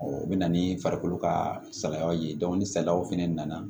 o bɛ na ni farikolo ka salayaw ye ni salayaw fɛnɛ nana